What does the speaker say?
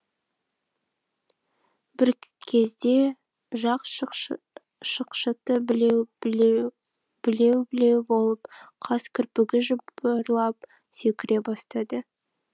бір кезде жақ шықшыты білеу білеу білеу білеу болып қас кірпігі жыбырлап секіре бастады